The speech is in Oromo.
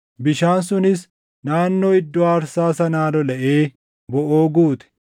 Bishaan sunis naannoo iddoo aarsaa sanaa lolaʼee boʼoo guute.